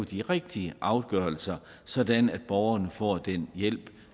de rigtige afgørelser sådan at borgerne får den hjælp